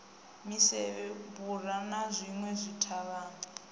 misevhe vhura na zwinwe zwithavhani